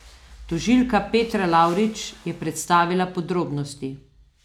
Tožilka Petra Lavrič je predstavila podrobnosti.